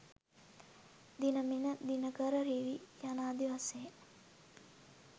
දිණමිණ දිනකර රිවි යානදී වශයෙන්